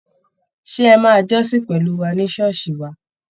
Ṣé ẹ máa jọ́sìn pẹ̀lú wà ní ṣọ́ọ̀ṣì wa?